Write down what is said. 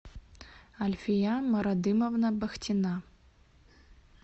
альфия марадымовна бахтина